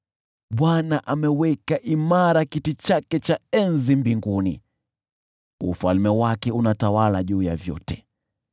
Bwana ameweka imara kiti chake cha enzi mbinguni, ufalme wake unatawala juu ya vyote.